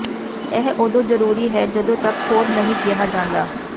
ਇਹ ਉਦੋਂ ਜ਼ਰੂਰੀ ਹੈ ਜਦੋਂ ਤੱਕ ਹੋਰ ਨਹੀਂ ਕਿਹਾ ਜਾਂਦਾ